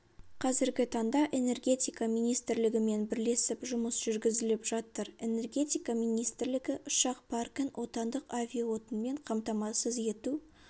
қазіргі таңда энергетика министрлігімен бірлесіп жұмыс жүргізіліп жатыр энергетика министрлігі ұшақ паркін отандық авиаотынмен қамтамасыз ету